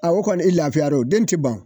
o kɔni e lafiyar'o den te ban.